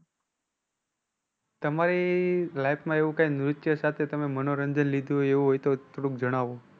તમારી life માં એવું કઈ નૃત્ય સાથે તમે મનોરંજન લીધું હોય એવું હોય તો થોડુંક જણાવો.